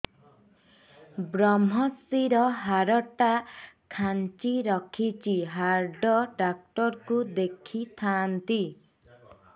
ଵ୍ରମଶିର ହାଡ଼ ଟା ଖାନ୍ଚି ରଖିଛି ହାଡ଼ ଡାକ୍ତର କୁ ଦେଖିଥାନ୍ତି